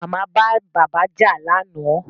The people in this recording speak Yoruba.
Màmá bá bàbá jà lánàá